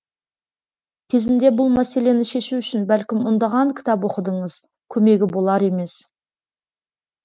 кезінде бұл мәселені шешу үшін бәлкім ондаған кітап оқыдыңыз көмегі болар емес